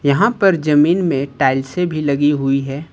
यहां पर जमीन में टाइल्से भी लगी हुई है।